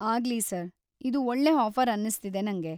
ಆಗ್ಲಿ ಸರ್.‌ ಇದು ಒಳ್ಳೆ ಆಫರ್‌ ಅನ್ನಿಸ್ತಿದೆ ನಂಗೆ.